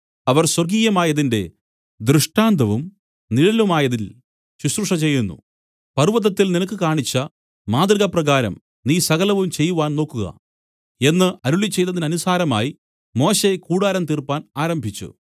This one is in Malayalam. അവർ സ്വർഗ്ഗീയമായതിന്റെ ദൃഷ്ടാന്തവും നിഴലുമായതിൽ ശുശ്രൂഷ ചെയ്യുന്നു പർവ്വതത്തിൽ നിനക്ക് കാണിച്ച മാതൃകപ്രകാരം നീ സകലവും ചെയ്‌വാൻ നോക്കുക എന്നു അരുളിച്ചെയ്തതിനനുസാരമായി മോശെ കൂടാരം തീർപ്പാൻ ആരംഭിച്ചു